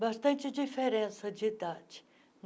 Bastante diferença de idade.